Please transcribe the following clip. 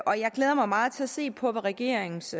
og jeg glæder mig meget til at se på hvad regeringens